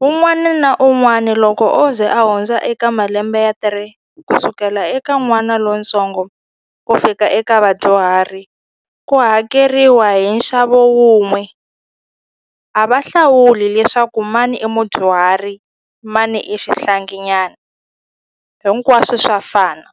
wun'wani na un'wani loko o ze a hundza eka malembe ya three ku sukela eka n'wana lontsongo ku fika eka vadyuhari ku hakeriwa hi nxavo wun'we a va hlawuli leswaku mani i mudyuhari mani i xihlangi nyana hinkwaswo swa fana.